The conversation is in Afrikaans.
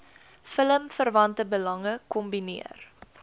filmverwante belange kombineer